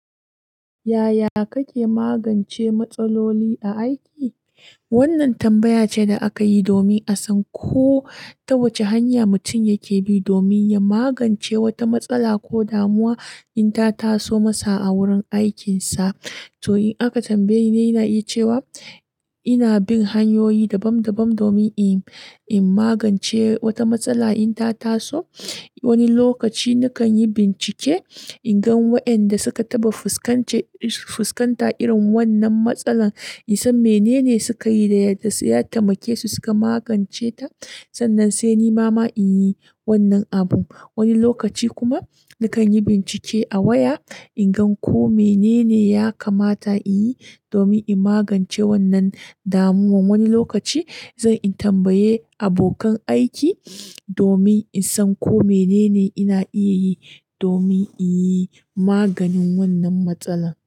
Yaya kake magance matsaloli a aiki? Wannan tambaya ce da aka yi domin a san ko ta wace hanya mutum yake bi domin ya magance wata matsala ko damuwa in ta taso masa a wurin aikinsa. To, in aka tambaye ni, ina iya cewa ina bin hanyoyi daban-daban domin in magance wata matsala in ta taso. Wani lokaci nakan yi bincike in gan wa'anda suka taɓa fuskanta irin wannan matsala, in san mene ne suka yi da yadda suka taimake su suka magance ta. Sannan sai ni ma ma in yi wannan abu. Wani lokaci kuma nakan yi bincike a waya in gan ko mene ne ya kamata in yi domin in magance wannan damuwa. Wani lokaci zan in tambaye abokan aiki domin in san ko mene ne ina iya yi domin in yi maganin wannan matsala.